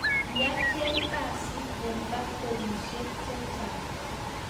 Kiacheeng kasiit eng factorisiek chechaang